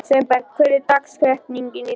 Sveinberg, hver er dagsetningin í dag?